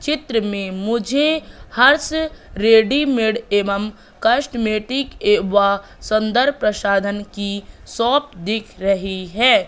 चित्र में मुझे हर्ष रेडीमेड एवं कॉस्मेटिक एवं संदर्भ प्रसाधन की शॉप दिख रही है।